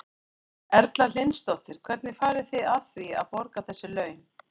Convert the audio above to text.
Erla Hlynsdóttir: Hvernig farið þið að því að, að borga þessi laun?